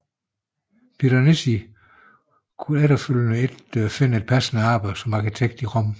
Piranesi kunne efterfølgende ikke finde et passende arbejde som arkitekt i Rom